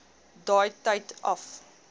daai tyd af